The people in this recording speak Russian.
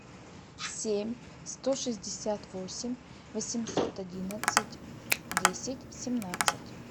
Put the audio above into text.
семь сто шестьдесят восемь восемьсот одиннадцать десять семнадцать